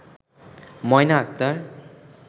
Moyna Akter